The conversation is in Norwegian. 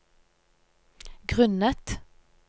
grunnet